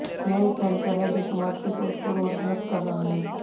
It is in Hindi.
यह एक कैंसर है जो समाज की सोच को रोगग्रस्त कर रहा है